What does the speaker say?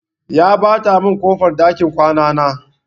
Ya ɓata min ƙofar ɗakin kwana na.